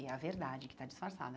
E é a verdade que está disfarçada.